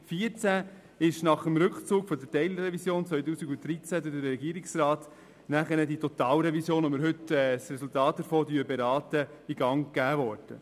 2014 wurde nach dem Rückzug der Teilrevision 2013 durch den Regierungsrat die Totalrevision, deren Resultat wir heute beraten, in Gang gebracht.